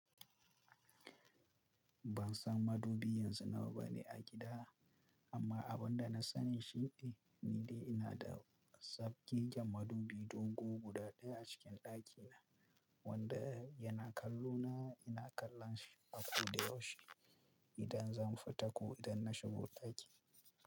Ban san madubi yanzu nawa bane a gida, amma abun da na sani shi ne ni dai ina da zabgegen madubi dogu guda ɗaya a cikin ɗakina wanda yana kallo na ina kallon shi a ko da yaushe idan zan fita ko idan na shiga ɗaki.